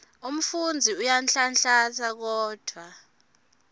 umfundzi uyanhlanhlatsa kodvwa